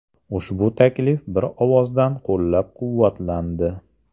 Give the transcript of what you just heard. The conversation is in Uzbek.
Ushbu taklif bir ovozdan qo‘llab-quvvatlandi.